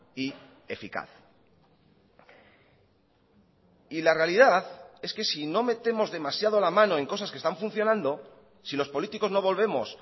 y eficaz y la realidad es que si no metemos demasiado la mano en cosas que están funcionando si los políticos no volvemos